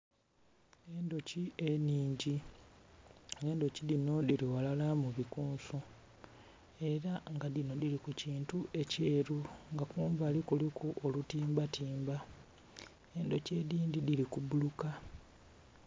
Endhoki enhingi endhoki dhinho dhili ghala mu bikunsu era nga dhinho dhili ku ekintu akyeru kumbali kuliku olutimba timba, endhoki edindhi dhili ku bbuluka.